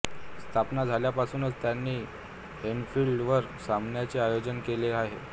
स्थापना झाल्यापासूनच त्यानी एन्फिल्ड वर सामन्यांचे आयोजन केले आहे